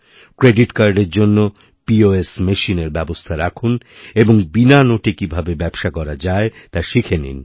credit কার্ডের জন্য POS machine এর ব্যবস্থা রাখুনএবং বিনা নোটে কীভাবে ব্যবসা করা যায় তা শিখে নিন